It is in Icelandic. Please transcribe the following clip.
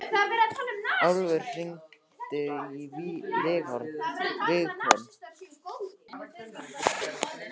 Álfur, hringdu í Vigkon.